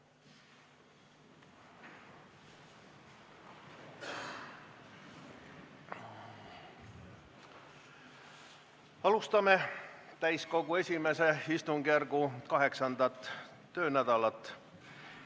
Alustame täiskogu I istungjärgu 8. töönädalat.